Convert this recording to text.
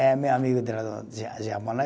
É meu amigo de lá do ja Japão, né?